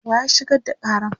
wa ya shigar da Karan?